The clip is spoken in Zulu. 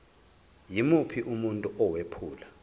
yimuphi umuntu owephula